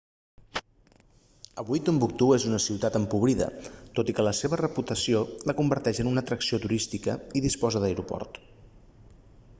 avui tombouctou és una ciutat empobrida tot i que la seva reputació la converteix en una atracció turística i disposa d'aeroport